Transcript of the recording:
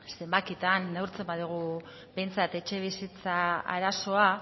zenbakitan neurtzen badugu behintzat etxebizitza arazoa